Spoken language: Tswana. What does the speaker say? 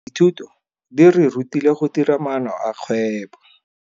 Dithutano di re rutile go dira maano a kgwebo.